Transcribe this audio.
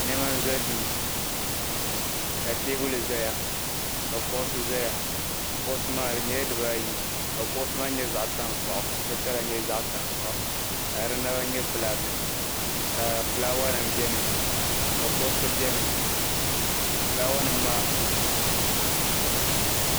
Nema n-za duu ka teebuli zaya ka kuɣusi zaya kuɣusi maa di nyɛla dibaayi ka kuɣusi maa nyɛ zaɣ'tankpaɣu ka di naba nyɛ bilaaki ka fulaawanima beni ka gɔriti beni fulaawanima maa.